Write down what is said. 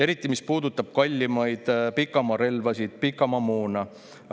Eriti, mis puudutab kallimaid pikamaarelvasid, pikamaamoona.